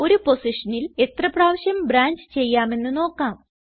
ഒരു പോസിഷനിൽ എത്ര പ്രാവിശ്യം ബ്രാഞ്ച് ചെയ്യാമെന്ന് നോക്കാം